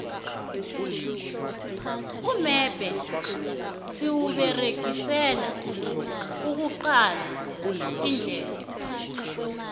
umebhe siwuberegisela ukuqala indlela